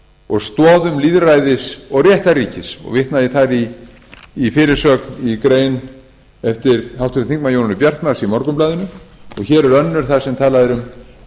og stoðum lýðræðis og réttarríkis og vitnað er þar í fyrirsögn í grein eftir háttvirtan þingmann jónínu bjartmarz í morgunblaðinu og hér er önnur þar sem talað er um